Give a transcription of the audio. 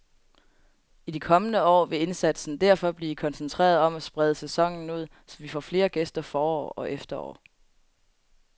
I de kommende år vil indsatsen derfor blive koncentreret om at sprede sæsonen ud, så vi får flere gæster forår og efterår.